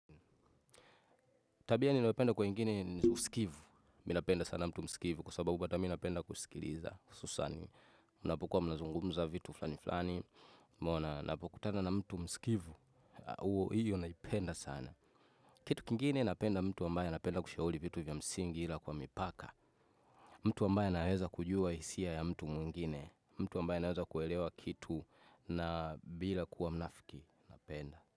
Tabia ninayopenda kwa wengine ni usikivu, mi napenda sana mtu msikivu kwa sababu hata mi napenda kusikiliza, hususan, unapokuwa mnazungumza vitu fulani fulani, umeona, napokutana na mtu msikivu, huo hiyo naipenda sana. Kitu kingine napenda mtu ambaye anapenda kushauri vitu vya msingi ila kwa mipaka, mtu ambaye anaweza kujua hisia ya mtu mwingine, mtu ambaye anaweza kuelewa kitu na bila kuwa mnafiki, napenda.